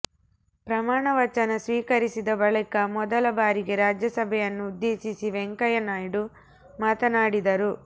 ಪ್ರಮಾಣ ವಚನ ಸ್ವೀಕರಿಸಿದ ಬಳಿಕ ಮೊದಲ ಬಾರಿಗೆ ರಾಜ್ಯಸಭೆಯನ್ನು ಉದ್ದೇಶಿಸಿ ವೆಂಕಯ್ಯ ನಾಯ್ಡು ಮಾತನಾಡಿದರು